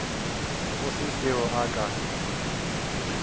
go se seo a ka